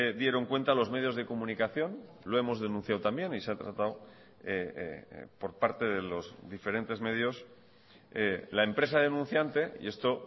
dieron cuenta los medios de comunicación lo hemos denunciado también y se ha tratado por parte de los diferentes medios la empresa denunciante y esto